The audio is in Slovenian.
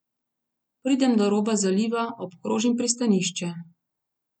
Pridem do roba zaliva, obkrožim pristanišče.